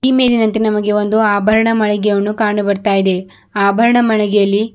ಈ ಮೇಲಿನಂತೆ ನಮಗೆ ಒಂದು ಆಭರಣ ಮಳಿಗೆಯಣ್ಣು ಕಾಣು ಬರುತ್ತ ಇದೆ ಆಭರಣ ಮಳಿಗೆಯಲ್ಲಿ--